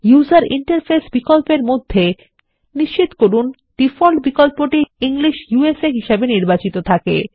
user interface বিকল্পের মধ্যে নিশ্চিত করুন ডিফল্ট বিকল্পটি ইংলিশ ইউএসএ হিসাবে নির্বাচিত থাকে